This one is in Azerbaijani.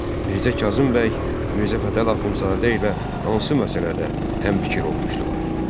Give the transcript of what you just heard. Mirzə Kazım bəy Mirzə Fətəli Axundzadə ilə hansı məsələdə həmfikir olmuşdular?